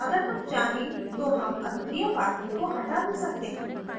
अगर हम चाहें तो हम अभिक्रिया pathway को हटा भी सकते हैं